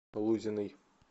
лузиной